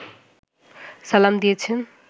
সালাম দিয়েছেন